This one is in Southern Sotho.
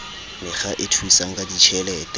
mekga e thusang ka ditjhelete